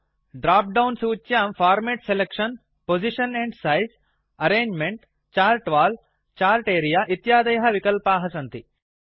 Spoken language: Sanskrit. ड्राप् डौन् सूच्यां format selection position and size arrangement chart wall chart area इत्यादयः विकल्पाः सन्ति